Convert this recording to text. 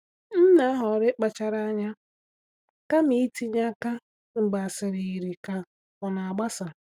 M na-ahọrọ ịkpachara anya kama itinye aka mgbe asịrị yiri ka ọ na-agbasa.